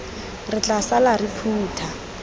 re tla sala re phutha